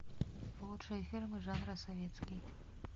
лучшие фильмы жанра советский